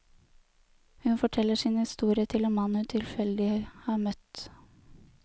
Hun forteller sin historie til en mann hun tilfeldig har møtt.